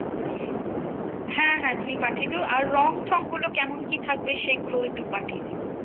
হ্যাঁ হ্যাঁ তুমি পাঠিয়ে দিও। আর রং থংগুলো কেমন কি থাকবে সেগুলোও একটু পাঠিয়ে দিও?